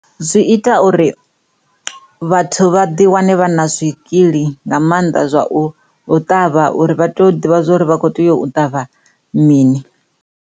Zwi ita uri vhathu vha ḓi wane vha na zwikili nga mannḓa zwa u ṱavha uri vha tea u ḓivha zwa uri vha kho tea u ṱavha mini.